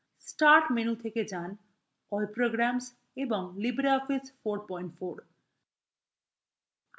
start menu থেকে যান → all programs এবং libreoffice 44